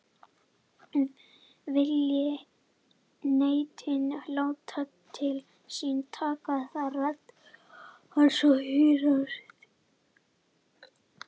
Vilji neytandinn láta til sín taka þarf rödd hans að heyrast.